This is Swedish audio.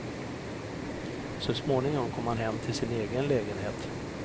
Så småningom kom han hem till sin egen lägenhet.